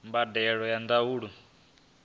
mbadelo ya zwa ndaulo i